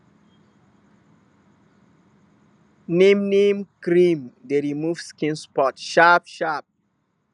neem neem cream dey remove skin spot sharp sharp